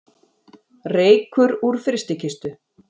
Reykur úr frystikistu